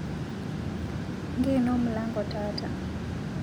Ng'eno mlango taata